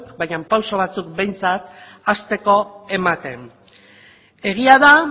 baino pausu batzuk behintzat hasteko ematen egia da